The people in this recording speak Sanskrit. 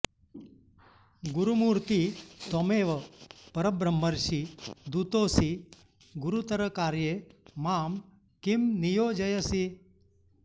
गुरुमूर्ति त्वमेव परब्रह्मर्षि दूतोऽसि गुरुतर कार्ये मां किं नियोजयसि